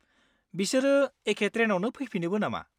बिसोरो एखे ट्रेनआवनो फैफिनोबो नामा?